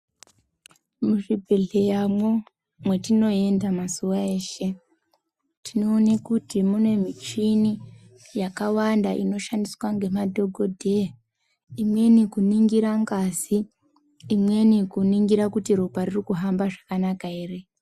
Muzvibhedhleyamwo mwatinoenda mazuwa eshe tinoone kuti mune michini yakawanda inoshandiswa ngemadhokodheya imweni kuningira ngazi imweni kuningira kuti ropa riri kuhamba zvakanaka ere.